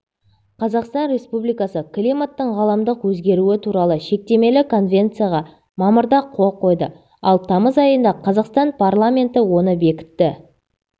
қазақстан республикасы климаттың ғаламдық өзгеруі туралы шектемелі конвенцияға мамырда қол қойды ал тамыз айында қазақстан парламенті оны бекітті